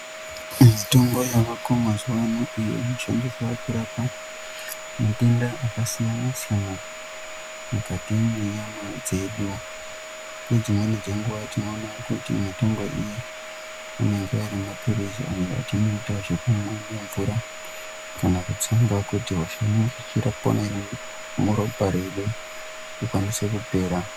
Mitombo yaako mazuwa ano iyo inoshandiswa kurape matenda akasiyana siyana mukati mwenyama dzedu. Nedzimweni dzenguwa tinoona kuti mitombo iyi inenge ari maphirizi atinoita zvekumwa nemvura kana kutsenga kuti hosha inenge ichipona iri muropa redu ikwanise kupera.